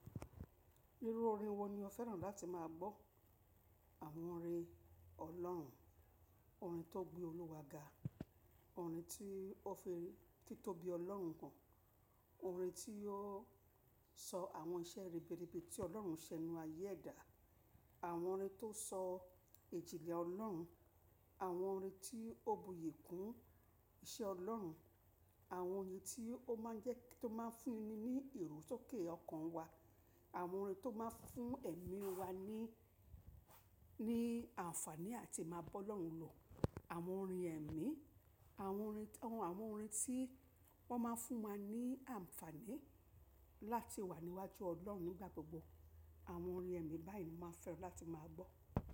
Irú orin wo ni o fẹ́ràn láti máa gbọ́? Àwọn orin Ọlọ́run, orin tó gbé Olúwa ga, orin tí ó fi títóbi Ọlọ́run han, orin tí yóò sọ àwọn iṣẹ́ rere rẹ ti Ọlọ́run ṣe nínú ayé ẹ̀dá, àwọn orin tó sọ ìjìnlẹ̀ Ọlọ́run, àwọn orin tí ó buyì kún iṣẹ́ Ọlọ́run, àwọn orin tí ó máa ń jẹ́ kí ó máa fún ni, ní ìró sókè ọkàn wa, àwọn orin tó máa ń fún ẹ̀mí wa ní, ní àǹfààní àti máa bọ́ Ọlọ́run lò, àwọn orin ẹ̀mí, àwọn orin, àwọn orin tí wọ́n máa ń fún wa ní àǹfààní láti wà níwájú Ọlọ́run nígbà gbogbo. Àwọn orin ẹ̀mí báyìí ni máa fẹ́ràn láti máa gbọ́.